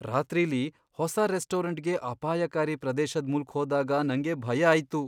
ರಾತ್ರಿಲಿ ಹೊಸ ರೆಸ್ಟೋರೆಂಟ್ಗೆ ಅಪಾಯಕಾರಿ ಪ್ರದೇಶದ್ ಮೂಲ್ಕ್ ಹೋದಾಗ ನಂಗೆ ಭಯ ಆಯ್ತು.